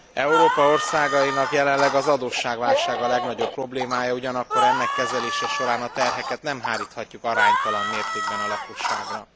Európa országainak jelenleg az adósságválság a legnagyobb problémája, ugyanakkor ennek kezelése során a terheket nem háríthatjuk aránytalan mértékben a lakosságra.